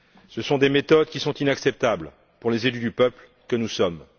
Ce sont des méthodes qui sont inacceptables pour les élus du peuple que nous sommes.